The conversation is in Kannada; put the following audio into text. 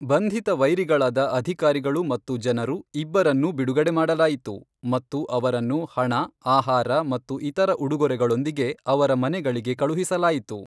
ಬಂಧಿತ ವೈರಿಗಳಾದ ಅಧಿಕಾರಿಗಳು ಮತ್ತು ಜನರು ಇಬ್ಬರನ್ನೂ ಬಿಡುಗಡೆ ಮಾಡಲಾಯಿತು ಮತ್ತು ಅವರನ್ನು ಹಣ, ಆಹಾರ ಮತ್ತು ಇತರ ಉಡುಗೊರೆಗಳೊಂದಿಗೆ ಅವರ ಮನೆಗಳಿಗೆ ಕಳುಹಿಸಲಾಯಿತು.